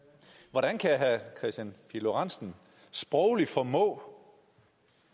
hvordan kan herre kristian pihl lorentzen sprogligt formå